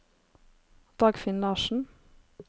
Dagfinn Larssen